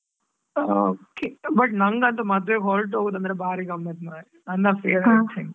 oOay but ನನ್ಗಂತೂ ಮದುವೆಗೆ ಹೊರ್ಟ್ ಹೋಗೋದಂದ್ರೆ ಬಾರಿ ಗಮ್ಮತ್ ಮಾರೆ ನನ್ನ favourite thing .